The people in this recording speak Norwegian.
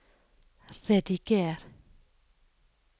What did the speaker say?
rediger